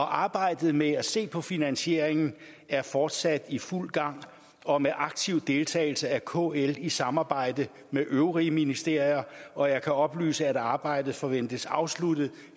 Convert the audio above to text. arbejdet med at se på finansieringen er fortsat i fuld gang og med aktiv deltagelse af kl i samarbejde med øvrige ministerier og jeg kan oplyse at arbejdet forventes afsluttet